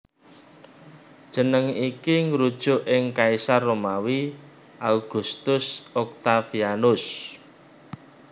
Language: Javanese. Jeneng iki ngrujuk ing kaisar Romawi Augustus Octavianus